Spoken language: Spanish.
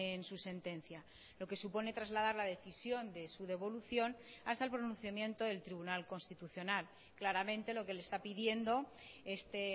en su sentencia lo que supone trasladar la decisión de su devolución hasta el pronunciamiento del tribunal constitucional claramente lo que le está pidiendo este